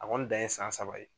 A kɔni dan ye san saba ye.